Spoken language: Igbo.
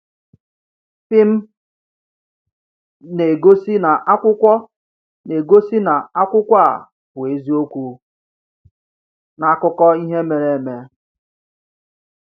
“Pim” na-egosi na akwụkwọ na-egosi na akwụkwọ a bụ eziokwu n’akụkọ ihe mere eme.